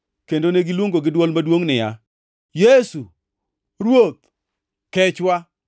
kendo negiluongo gi dwol maduongʼ niya, “Yesu, Ruoth! Kechwa!”